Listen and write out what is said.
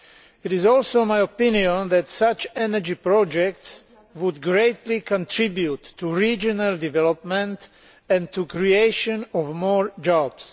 It is also my opinion that such energy projects would greatly contribute to regional development and to the creation of more jobs.